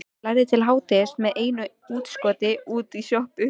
Lærði til hádegis með einu útskoti út í sjoppu.